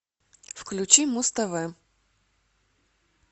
включи муз тв